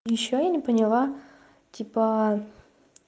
ещё я не поняла типа